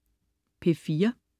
P4: